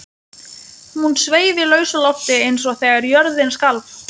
Hún sveif í lausu lofti eins og þegar jörðin skalf.